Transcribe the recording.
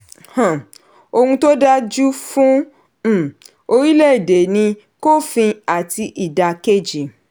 um ohun tó dáa jù fún um orílẹ̀-èdè ni kófin àti ìdá kejì.